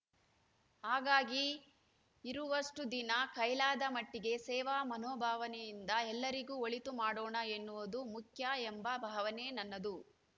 ಹಾಗಾಗಿ ಇರುವಷ್ಟುದಿನ ಕೈಲಾದ ಮಟ್ಟಿಗೆ ಸೇವಾ ಮನೋಭಾವನೆಯಿಂದ ಎಲ್ಲರಿಗೂ ಒಳಿತು ಮಾಡೋಣ ಎನ್ನುವುದು ಮುಖ್ಯ ಎಂಬ ಭಾವನೆ ನನ್ನದು